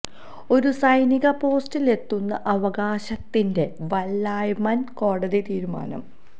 ഒരു സൈനിക പോസ്റ്റിലെത്തുന്ന അവകാശത്തിന്റെ വല്ലായ്മ ന് കോടതി തീരുമാനം